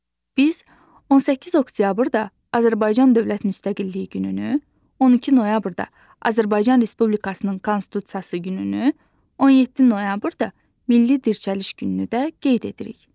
Biz 18 oktyabrda Azərbaycan Dövlət Müstəqilliyi gününü, 2 noyabrda Azərbaycan Respublikasının Konstitusiyası gününü, 17 noyabrda Milli Dirçəliş gününü də qeyd edirik.